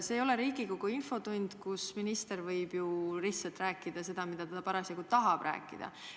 See ei ole Riigikogu infotund, kus minister võib lihtsalt rääkida seda, mida ta parasjagu tahab rääkida.